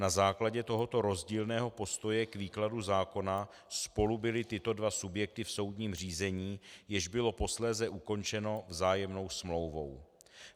Na základě tohoto rozdílného postoje k výkladu zákona spolu byly tyto dva subjekty v soudním řízení, jež bylo posléze ukončeno vzájemnou smlouvou.